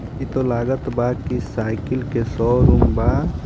इ त लागत बा कि साइकिल के शो रूम बा.